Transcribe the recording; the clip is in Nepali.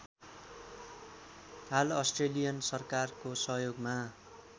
हाल अस्ट्रेलियन सरकारको सहयोगमा